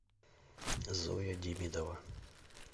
зоя демидова